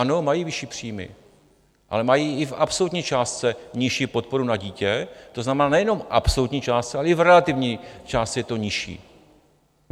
Ano, mají vyšší příjmy, ale mají i v absolutní částce nižší podporu na dítě, to znamená nejenom v absolutní částce, ale i v relativní částce je to nižší.